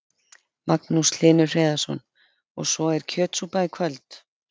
Magnús Hlynur Hreiðarsson: Og svo er kjötsúpa í kvöld?